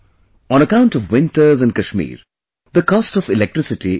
On account of winters in Kashmir, the cost of electricity is high